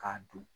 K'a don